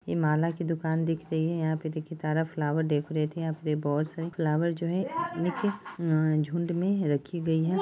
यह माला की दूकान दिख रही है यहाँ पे देखिये सारा फ्लावर डेकोरेट है| यहाँ पे बॉस है फ्लावर जो है एक झुंड में रखी गयी है।